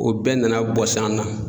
O bɛɛ nana bɔs'an na